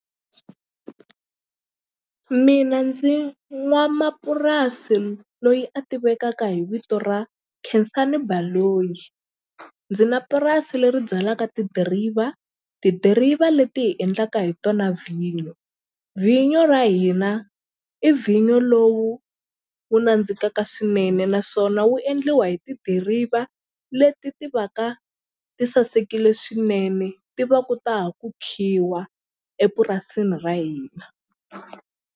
Mina ndzi n'wamapurasi loyi a tivekaka hi vito ra Khensani Baloyi ndzi na purasi leri byalaka tidiriva, tidiriva leti hi endlaka hi tona vhinyo vhinyo ra hina i vhinyo lowu wu nandzikaka swinene naswona wu endliwa hi tidiriva leti ti va ka ti sasekile swinene ti va ku ta ha ku khiwa epurasini ra hina.